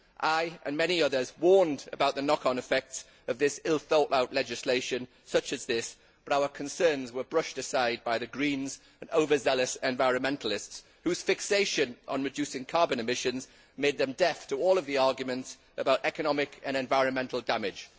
I and many others warned about the knock on effects of ill thought out legislation such as this, but our concerns were brushed aside by the Greens and over zealous environmentalists whose fixation on reducing carbon emissions made them deaf to all of the arguments about economic and environmental damage.